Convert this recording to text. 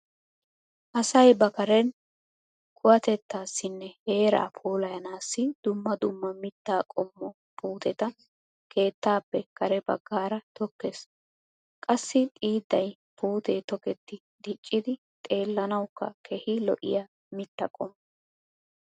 Asay ba kareeni kuwatettaassinne heeraa puulayanaassi dumma dumma mittaa qommo puuteta keettaappe kare baggaara tokkees. Qassi xiiddaay puutee toketti diccidi xeellanawukka keehi lo'iya mitta qommo.